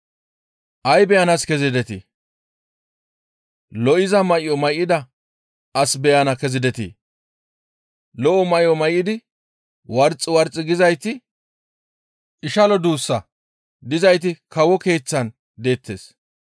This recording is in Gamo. Ay beyanaas kezidetii? Lo7iza may7o may7ida as beyana kezidetii? Lo7o may7o may7idi warxi warxi gizayti ishalo duus dizayti kawo keeththan deettes.